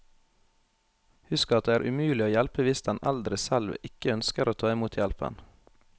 Husk at det er umulig å hjelpe hvis den eldre selv ikke ønsker å ta imot hjelpen.